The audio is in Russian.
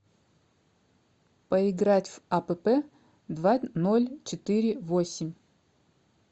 поиграть в апп два ноль четыре восемь